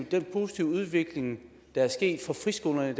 den positive udvikling der er sket for friskolerne i